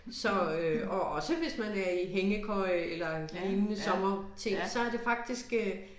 Så øh og også hvis det er i hængekøje eller lignende sommerting så det faktisk øh